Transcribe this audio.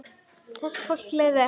Þessu fólki leið vel.